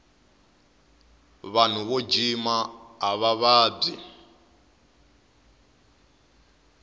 vanhu vo jhima ava vabyi